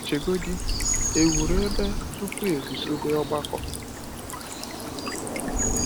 Chegodi, e wuru ebe tupu e guzobe ọgbakọ!